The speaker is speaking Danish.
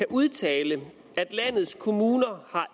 udtale at landets kommuner